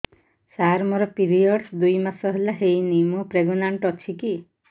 ସାର ମୋର ପିରୀଅଡ଼ସ ଦୁଇ ମାସ ହେଲା ହେଇନି ମୁ ପ୍ରେଗନାଂଟ ଅଛି କି